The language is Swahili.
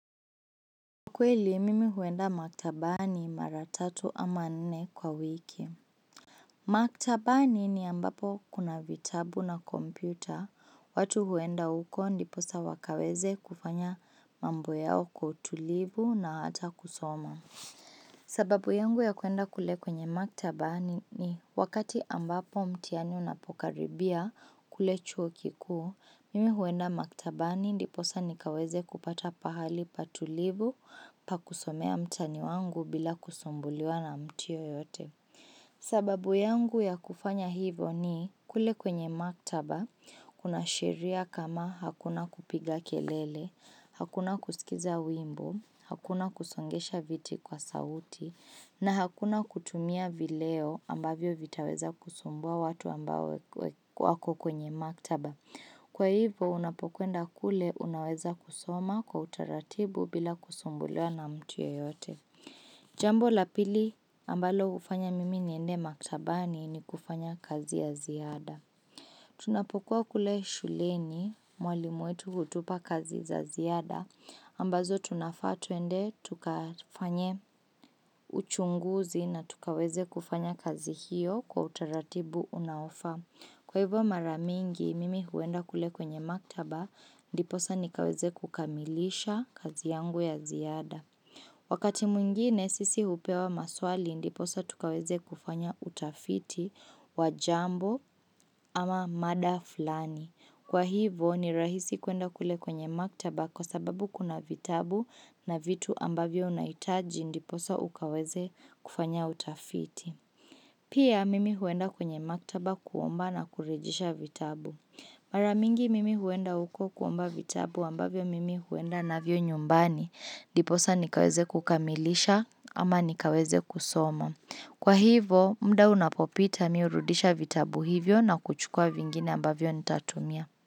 Kweli, mimi huenda maktabani mara tatu ama nne kwa wiki. Maktabani ni ambapo kuna vitabu na kompyuta. Watu huenda huko ndiposa wakaweze kufanya mambo yao kwa utulivu na hata kusoma. Sababu yangu ya kuenda kule kwenye maktabani ni wakati ambapo mtihani unapokaribia kule chuo kikuu. Mimi huenda maktabani ndiposa nikaweze kupata pahali patulivu pa kusomea mtihani wangu bila kusumbuliwa na mtu yeyote. Sababu yangu ya kufanya hivo ni, kule kwenye maktaba kuna sheria kama, hakuna kupiga kelele, hakuna kusikiza wimbo, hakuna kusongesha viti kwa sauti na hakuna kutumia vileo ambavyo vitaweza kusumbua watu ambao wa wako kwenye maktaba. Kwa hivo unapokwenda kule unaweza kusoma kwa utaratibu bila kusumbuliwa na mtu yeyote. Jambo la pili ambalo hufanya mimi niende maktabani, ni kufanya kazi ya ziada. Tunapokuwa kule shuleni mwalimu wetu hutupa kazi za ziada ambazo tunafaa tuende tukafanye uchunguzi na tukaweze kufanya kazi hiyo kwa utaratibu unaofaa. Kwa hivyo mara mingi, mimi huenda kule kwenye maktaba ndiposa nikaweze kukamilisha kazi yangu ya ziada. Wakati mwingine sisi hupewa maswali ndiposa tukaweze kufanya utafiti wa jambo ama mada fulani. Kwa hivyo ni rahisi kuenda kule kwenye maktaba kwa sababu kuna vitabu na vitu ambavyo unahitaji ndiposa ukaweze kufanya utafiti. Pia mimi huenda kwenye maktaba kuomba na kurejesha vitabu. Maramingi mimi huenda uko kuomba vitabu ambavyo mimi huenda navyo nyumbani. Diposa nikaweze kukamilisha ama nikaweze kusoma. Kwa hivo mda unapopita mi urudisha vitabu hivyo na kuchukua vingine ambavyo nitatumia.